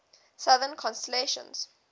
southern constellations